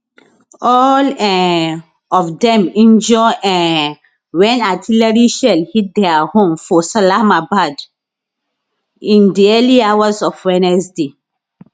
all um of dem injure um wen artillery shell hit dia home for salamabad in di early hours of wednesday